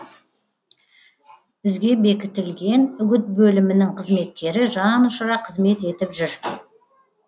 бізге бекітілген үгіт бөлімінің қызметкері жанұшыра қызмет етіп жүр